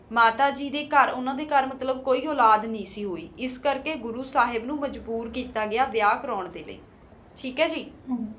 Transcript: ਮਾਤਾ ਜੀ ਦਾ ਕਰ ਕੋਈ ਉਲਾਦ ਨਹੀ ਸੀ ਆਸ ਲੀ ਆਸ ਸਾਹਿਬ ਨੂ ਮਾਜ੍ਬੋਰ ਕੀਤਾ ਗਯਾ